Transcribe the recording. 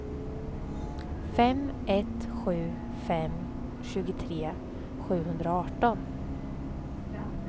fem ett sju fem tjugotre sjuhundraarton